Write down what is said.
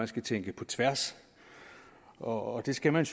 skal tænke på tværs og det skal man